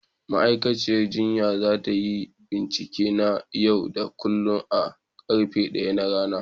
Ma'aikaciyar jinya za ta yi bincike na yau da kullun da karfe 1 na rana.